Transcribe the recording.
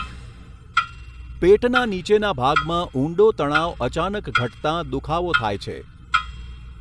પેટના નીચેના ભાગમાં ઊંડો તણાવ અચાનક ઘટતાં દુખાવો થાય છે.